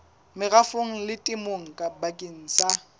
merafong le temong bakeng sa